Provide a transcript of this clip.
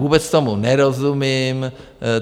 Vůbec tomu nerozumím.